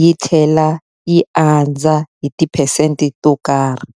yi tlhela yi andza hi tiphesente to karhi.